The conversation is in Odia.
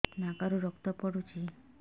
ନାକରୁ ରକ୍ତ ପଡୁଛି